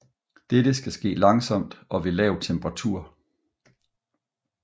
Dette skal ske langsomt og ved lav temperatur